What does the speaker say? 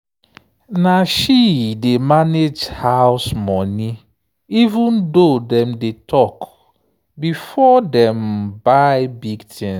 na she dey manage house money even though dem dey talk before dem buy big things.